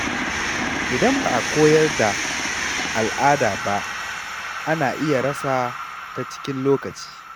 Idan ba a koyar da al’ada ba, ana iya rasa ta cikin lokaci.